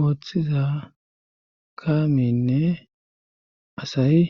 ooththiza kaaminne asayi.